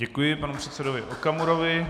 Děkuji panu předsedovi Okamurovi.